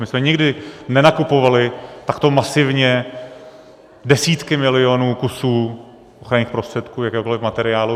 My jsme nikdy nenakupovali takto masivně desítky milionů kusů ochranných prostředků, jakéhokoliv materiálu.